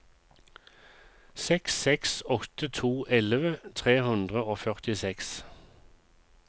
seks seks åtte to elleve tre hundre og førtiseks